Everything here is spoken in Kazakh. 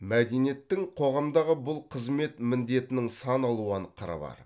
мәдениеттің қоғамдағы бұл қызмет міндетінің сан алуан қыры бар